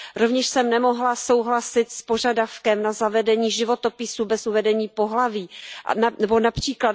Rovněž jsem nemohla souhlasit s požadavkem na zavedení životopisů bez uvedení pohlaví nebo např.